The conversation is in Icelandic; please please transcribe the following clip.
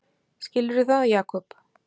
Skilurðu það, Jakob?